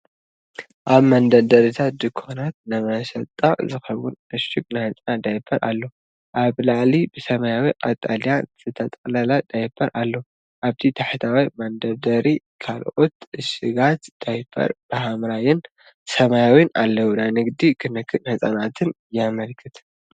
ኣብ መደርደሪታት ድኳናት ንመሸጣ ዝኸውን ዕሹግ ናይ ህጻናት ዳያፐር ኣሎ። ኣብ ላዕሊ ብሰማያውን ቀጠልያን ዝተጠቕለለ ዳያፐር ኣሎ፡ ኣብቲ ታሕተዋይ መደርደሪ ካልኦት ዕሹጋት ዳያፐር ብሐምላይን ሰማያውን ኣለዉ። ናይ ንግድን ክንክን ህጻናትን የመልክት።